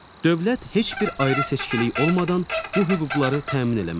Dövlət heç bir ayrı-seçkilik olmadan bu hüquqları təmin eləməlidir.